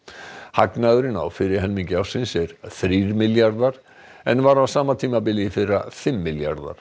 hagnaðurinn á fyrri helmingi ársins er þrír milljarðar en var á sama tímabili í fyrra fimm milljarðar